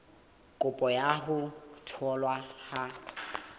kopo ya ho tholwa ha